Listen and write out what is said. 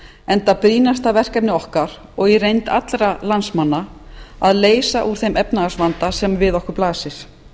enda brýnasta verkefni okkar og í reynd allra landsmanna að leysa úr þeim efnahagsvanda sem við okkur blasir